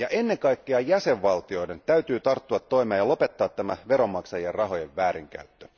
Ennen kaikkea jäsenvaltioiden täytyy tarttua toimeen ja lopettaa tämä veronmaksajien rahojen väärinkäyttö.